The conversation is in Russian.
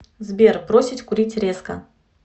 сбер бросить курить резко